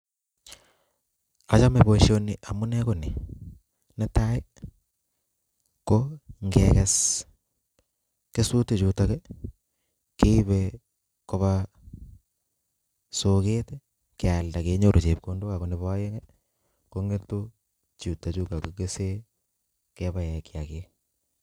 Achomei boisonii amuu nee konii nee taii ko ngee kes kesutik chutok kee Ibee kobaa soket ibkealda ke nyoru chebkondok ak ko neboo aeng konyetu chutakchu ak kii kesei kee baek kiakik